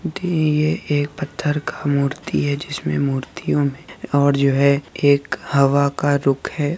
दिए एक पत्थर का मूर्ति है जिसमें मूर्तियों में और जो है एक हवा का रुख है।